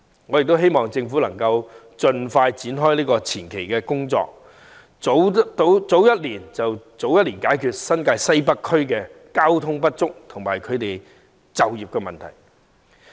我希望政府能夠盡快展開前期工作，早一年開始便可早一年解決新界西北交通配套不足和居民就業的問題。